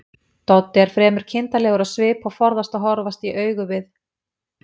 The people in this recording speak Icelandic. Doddi er fremur kindarlegur á svip og forðast að horfast í augu við